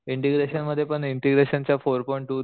integration मध्ये पण integration चा फोर पॉईंट टू